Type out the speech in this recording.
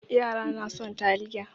Yara na son taliya.